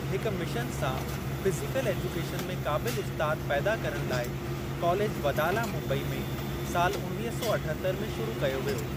हिकु मिशन सां physical education में क़ाबिलु उस्तादु पैदा करण लाइ कॉलेज वदाला मुम्बई में साल उणवीह सौ अठहतरि में शुरू कयो वियो।